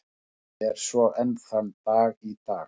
Er svo enn þann dag í dag.